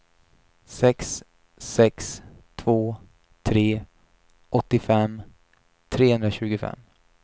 sex sex två tre åttiofem trehundratjugofem